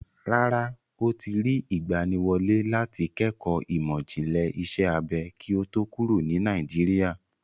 Rárá, ó ti rí ìgbaniwọlé láti kẹ́kọ̀ọ́ ìmọ̀ ìjìnlẹ̀ iṣẹ́ abẹ kí ó tó kúrò ní Nàìjíríà.